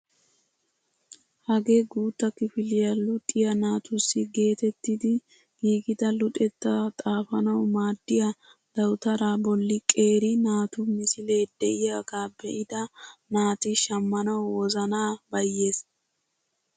Hagee guutta kifiliyaa luxiyaa naatussi getettidi giigida luxettaa xaafanwu maaddiyaa dawutaraa bolli qeeri naatu misilee de'iyaaga be'ida naati shammanawu wozanaa bayyees!